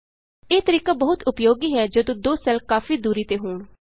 ਇਹ ਤਰੀਕਾ ਬਹੁਤ ਉਪਯੋਗੀ ਹੈ ਜਦ ਦੋ ਸੈੱਲ ਕਾਫੀ ਦੂਰੀ ਤੇ ਹੋਣ